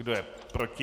Kdo je proti?